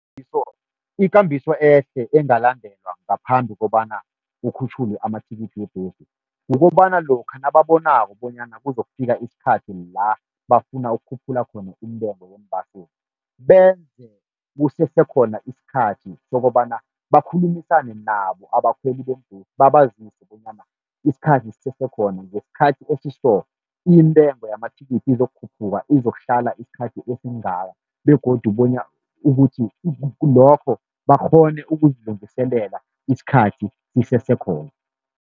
ikambiso ehle engalandelwa ngaphambi kobana kukhutjhulwe amathikithi webhesi, kukobana lokha nababonako bonyana kuzokufika isikhathi la bafuna ukukhuphula khona intengo yeembaseli, benze kusese khona isikhathi sokobana bakhulumisane nabo abakhweli beembhesi, babazise bonyana isikhathi sisese khona ngesikhathi esiso intengo yamathikithi izokukhuphuka izokuhlala isikhathi esingaka. Begodu bona ukuthi lokho bakghone ukuzilungiselela isikhathi sisesekhona.